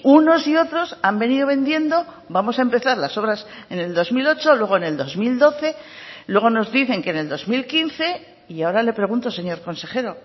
unos y otros han venido vendiendo vamos a empezar las obras en el dos mil ocho luego en el dos mil doce luego nos dicen que en el dos mil quince y ahora le pregunto señor consejero